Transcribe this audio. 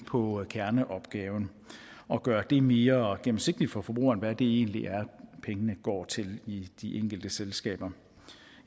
på kerneopgaven og gøre det mere gennemsigtigt for forbrugerne hvad det egentlig er pengene går til i de enkelte selskaber